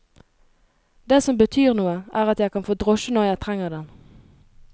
Det som betyr noe, er at jeg kan få drosje når jeg trenger den.